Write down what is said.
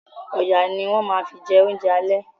Ọ̀yà ni wọ́n ma fi jẹ oúnjẹ àlẹ́